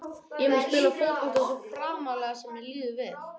Ég mun spila fótbolta svo framarlega sem að mér líður vel.